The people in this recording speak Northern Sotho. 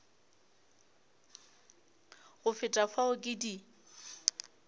go feta fao ke di